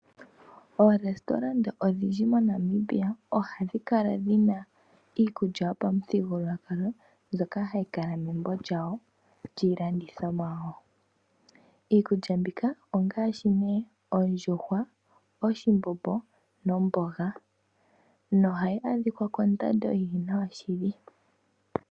Oorestorant odhindji moNamibia ohadhi kala dhina iikulya yopamuthigululwakalo mbyono hayi kala membo lyawo lyiilandithomwa. Iikulya mbika ongaashi ne ondjuhwa yoshiwambo, oshimbombo nomboga nohayi adhika kondando yili nawa shili.